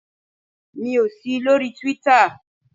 Mi ò sí lórí Twitter.